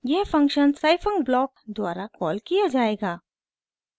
यह function scifunc block द्वारा call किया जायेगा